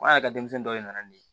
An yɛrɛ ka denmisɛn dɔ ye nan nin ye